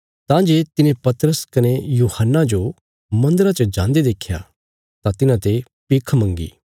तां जे तिने पतरस कने यूहन्ना जो मन्दरा च जान्दे देख्या तां तिन्हांते भिख मंगी